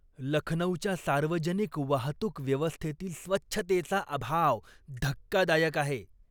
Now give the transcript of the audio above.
लखनौच्या सार्वजनिक वाहतूक व्यवस्थेतील स्वच्छतेचा अभाव धक्कादायक आहे.